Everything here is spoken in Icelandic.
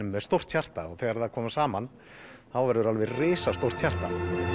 með stórt hjarta og þegar þær koma saman verður það risastórt hjarta